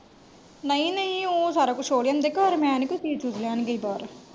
ਨਈ ਨਈ ਉਹ ਸਾਰਾ ਕੁਜ ਉਹ ਲਿਆਂਦੇ ਘਰ ਮੈਂ ਨੀ ਕੋਈ ਚੀਜ ਚੂਜ਼ ਲੈਣ ਗਈ ਬਾਹਰ।